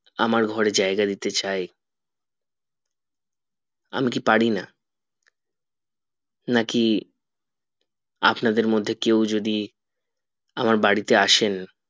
আমার ঘরে জায়গা দিতে চাই আমি কি পারিনা নাকি আপনাদের মধ্যে কেউ যদি আমার বাড়িতে আসেন